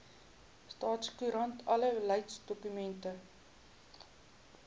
staatskoerant alle beleidsdokumente